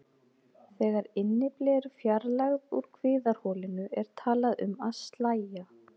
Þegar innyfli eru fjarlægð úr kviðarholinu er talað um að slægja.